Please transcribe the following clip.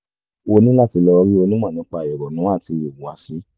o ní láti lọ rí onímọ̀ nípa ìrònú àti ìhùwàsí